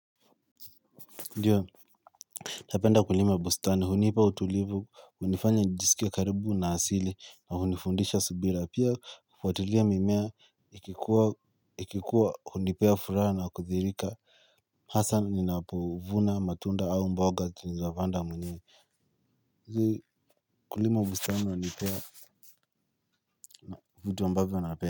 Ndiyo. Napenda kulima bustani hunipa utulivu hunifanya njijisikie karibu na asili na hunifundisha subira pia kufuatilia mimea ikikuwa ikikuwa hunipea furaha na kudhirika. Hasa ninapovuna matunda au mboga tulizopanda mwenyewe. Hizi kulima bustani wanipea na vitu ambavyo nape.